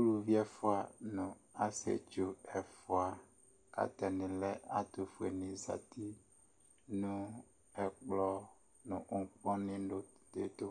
uluvi ɛfua nu ɔsietsu ɛfua ata ni lɛ atu fue ni zati ɛkplɔ nu ŋkpɔnu di ɛtu,